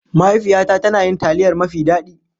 Mahaifiyata tana yin taliyar mafi daɗi.